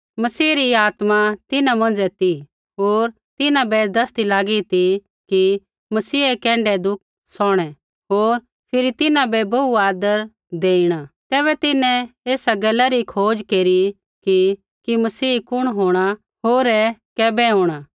मसीह री आत्मा तिन्हां मौंझ़ै ती होर तिन्हां बै दसदी लागी ती कि मसीहै कैण्ढै दुःख सौहणै होर फिरी तिन्हां बै बोहू आदर देईणा तैबै तिन्हैं एसा गैला री खोज केरी की कि मसीह कुण होंणा होर ऐ कैबै होंणा